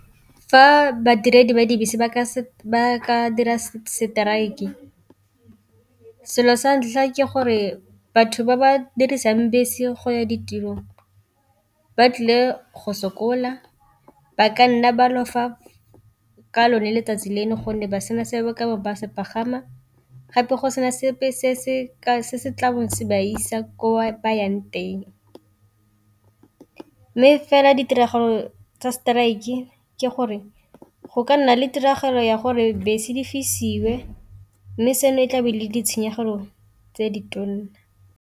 Fa badiredi ba dibese ba ka dira strike selo sa ntlha ke gore batho ba ba dirisang bese go ya ditirong ba tlile go sokola, ba ka nna ba lofa ka lone letsatsi leo gonne ba sena se ba ka se pagama, gape go sena sepe se se tlang se ba isa ko ba yang teng. Mme fela ditiragalo tsa strike ke gore go ka nna le tiragalo ya gore bese di fedisiwe, mme seno e tlabe le ditshenyegelo tse di tona.